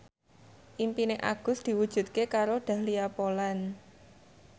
impine Agus diwujudke karo Dahlia Poland